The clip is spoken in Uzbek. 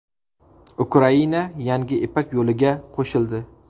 Ukraina yangi Ipak yo‘liga qo‘shildi.